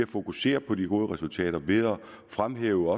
fokusere på de gode resultater ved at fremhæve